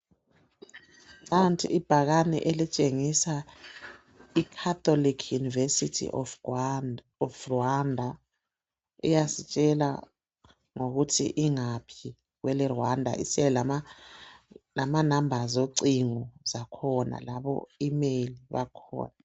Nanti ibhakane elitshengisa Catholic University of Rwanda iyasitshela ngokuthi ingaphi kwele Rwanda lenombolo zocingo zakhona labo "email" bakhona.